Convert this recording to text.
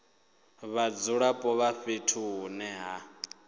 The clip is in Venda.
vhadzulapo vha fhethu hune ha